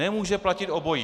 Nemůže platit obojí.